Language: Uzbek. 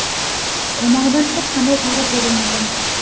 tomonidan hech qanday chora ko‘rilmagan.